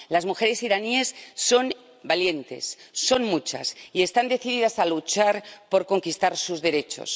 Las mujeres iraníes son valientes, son muchas y están decididas a luchar por conquistar sus derechos.